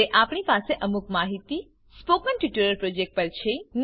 હવે આપણી પાસે અમુક માહિતી સ્પોકન ટ્યુટોરીયલ પ્રોજેક્ટ પર છે